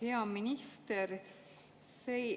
Hea minister!